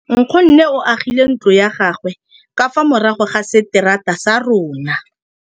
Nkgonne o agile ntlo ya gagwe ka fa morago ga seterata sa rona.